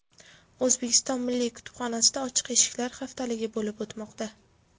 O‘zbekiston milliy kutubxonasida ochiq eshiklar haftaligi bo‘lib o‘tmoqda.